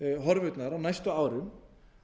horfurnar á næstu árum